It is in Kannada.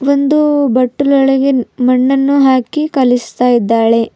ಒಂದು ಬಟ್ಟಲ್ಲೊಳಗೆ ಮಣ್ಣನ್ನು ಹಾಕಿ ಕಲಿಸ್ತಾ ಇದ್ದಾಳೆ.